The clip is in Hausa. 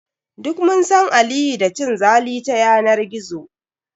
Duk mun san Aliyu da cin zali ta yanar gizo.